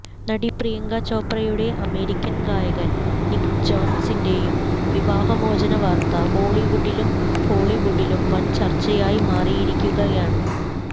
നടി പ്രിയങ്ക ചോപ്രയുടെ അമേരിയ്ക്കൻ ഗായകൻ നിക്ക് ജോനാസിന്റേയും വിവാഹ മോചന വാർത്ത ബോളിവുഡിലും ഹോളിവുഡിലും വൻ ചർച്ചയായി മാറിയിരിക്കുകയാണ്